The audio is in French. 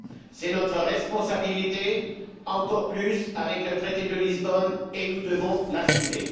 C'est notre responsabilité encore plus avec le traité de Lisbonne et nous devons l'assumer.